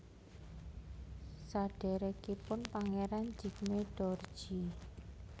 Sadhèrèkipun Pangeran Jigme Dorji